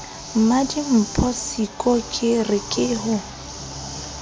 mmadimpho siko ke re ho